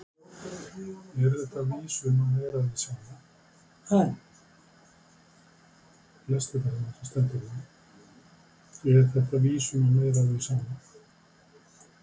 Fréttamaður: Er þetta vísun á meira af því sama?